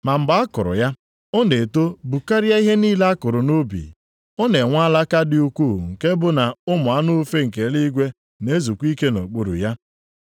Ma mgbe a kụrụ ya, ọ na-eto bukarịa ihe niile a kụrụ nʼubi, ọ na-enwe alaka dị ukwuu nke bụ na ụmụ anụ ufe nke eluigwe na-ezukwa ike nʼokpuru ya.”